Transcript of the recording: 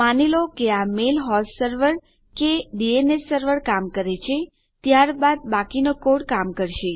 માની લો કે આ મેલ હોસ્ટ સર્વર કે ડીએનએસ સર્વર કામ કરે છે ત્યારબાદ બાકીનો કોડ કામ કરશે